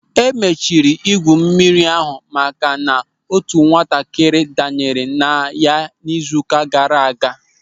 E mechiri ebe igwu mmiri ahụ maka na otu nwatakịrị danyere na ya n'izu ụka gaara aga.